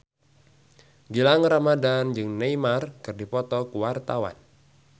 Gilang Ramadan jeung Neymar keur dipoto ku wartawan